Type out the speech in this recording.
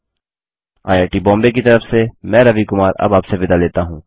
I I T Bombay की तरफ से मैं रवि कुमार अब आप से विदा लेता हूँ